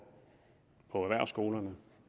på erhvervsskolerne